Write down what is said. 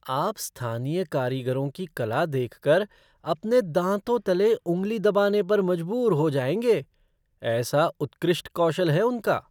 आप स्थानीय कारीगरों की कला देख कर अपने दाँतों तले उँगली दबाने पर मजबूर हो जाएँगे, ऐसा उत्कृष्ट कौशल है उनका।